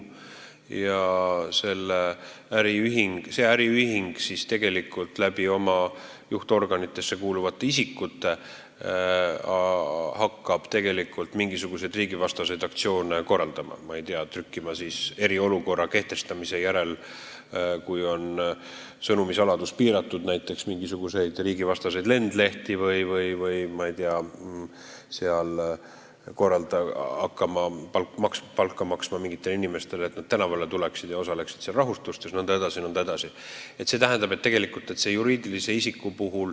Ja see äriühing hakkab oma juhtorganitesse kuuluvate isikute kaudu mingisuguseid riigivastaseid aktsioone korraldama – hakkab näiteks eriolukorra kehtestamise järel, kui sõnumisaladust on piiratud, mingisuguseid riigivastaseid lendlehti trükkima või mingitele inimestele palka maksma, et nad tänavale tuleksid ja rahutustes osaleksid jne, jne.